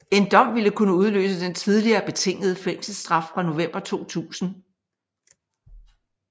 En dom ville kunne udløse den tidligere betingede fængselsstraf fra november 2000